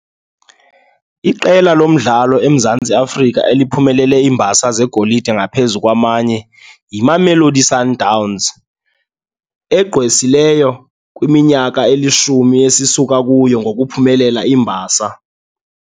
Iqela lomdlalo eMzantsi Afrika eliphumelele iimbasa zegolide ngaphezu kwamanye yiMamelodi Sundowns, egqwesileyo kwiminyaka elishumi esisuka kuyo ngokuphumelela iimbasa.